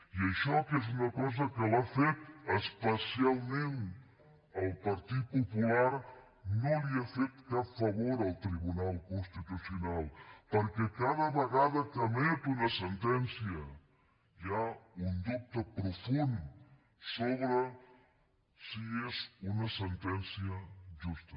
i això que és una cosa que l’ha fet especialment el partit popular no li ha fet cap favor al tribunal constitucional perquè cada vegada que emet una sentència hi ha un dubte profund sobre si és una sentència justa